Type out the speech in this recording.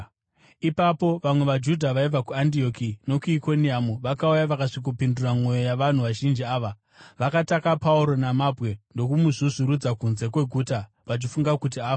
Ipapo vamwe vaJudha vaibva kuAndioki nokuIkoniamu vakauya vakasvikopindura mwoyo yavanhu vazhinji ava. Vakataka Pauro namabwe ndokumuzvuzvurudzira kunze kweguta, vachifunga kuti afa.